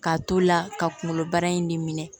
K'a to la ka kunkolo bara in de minɛ